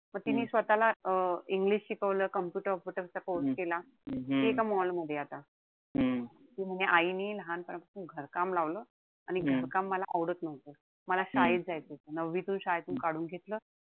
पण तिनी स्वतःला अं english शिकवलं. computer चा course केला. ती एका mall मध्येय आता. ती म्हणे आईनी लहानपणापासून घरकाम लावलं. आणि घरकाम मला आवडत नव्हतं. मला शाळेत जायचं होत. नववीतून शाळेतून काढून घेतलं.